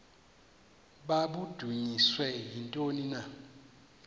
babudunjiswe yintoni na